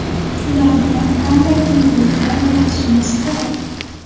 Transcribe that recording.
Ularga qanday yengilliklar yaratishimiz kerak?